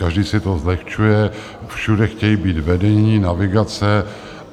Každý si to zlehčuje, všude chtějí být vedeni, navigace.